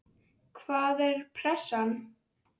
Hvaða er pressa?